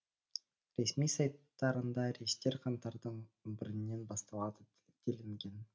ресми сайттарында рейстер қаңтардың он бірінен басталады делінген